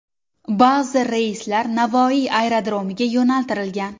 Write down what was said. Ba’zi reyslar Navoiy aerodromiga yo‘naltirilgan.